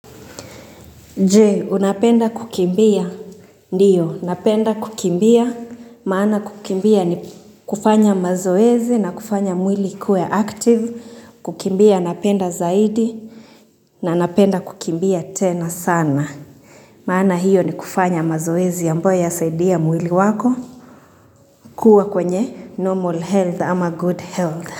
Jee, unapenda kukimbia, ndiyo, napenda kukimbia, maana kukimbia ni kufanya mazoezi na kufanya mwili ikuwe active, kukimbia napenda zaidi na napenda kukimbia tena sana. Maana hiyo ni kufanya mazoezi ambayo yasaidia mwili wako kuwa kwenye normal health ama good health.